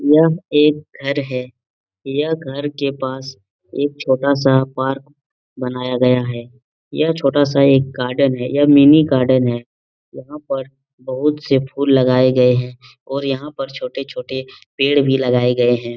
यह एक घर है यह घर के पास एक छोटा सा पार्क बनाया गया है यह छोटा सा एक गार्डन है ये मिनी गार्डन है यहाँ पर बहुत से फूल लगाये गये हैं और यहाँ पर छोटे-छोटे पेड़ भी लगाये गये हैं।